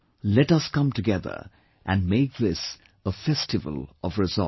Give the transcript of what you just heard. Let us come together and make this a Festival of Resolve